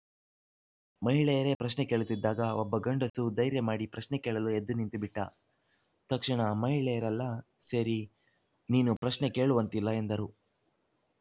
ಮಹಿಳೆಯರೇ ಪ್ರಶ್ನೆ ಕೇಳುತ್ತಿದ್ದಾಗ ಒಬ್ಬ ಗಂಡಸು ಧೈರ್ಯ ಮಾಡಿ ಪ್ರಶ್ನೆ ಕೇಳಲು ಎದ್ದು ನಿಂತುಬಿಟ್ಟ ತಕ್ಷಣ ಮಹಿಳೆಯರೆಲ್ಲ ಸೇರಿ ನೀನು ಪ್ರಶ್ನೆ ಕೇಳುವಂತಿಲ್ಲ ಎಂದರು